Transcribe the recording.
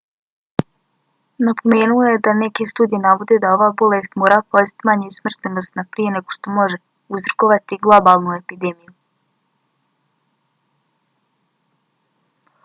napomenuo je da neke studije navode da ova bolest mora postati manje smrtonosna prije nego što može uzrokovati globalnu epidemiju